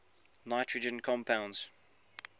nitrogen compounds